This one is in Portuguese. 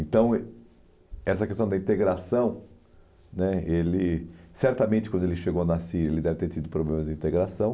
Então, essa questão da integração, né ele, certamente quando ele chegou na Síria, ele deve ter tido problemas de integração.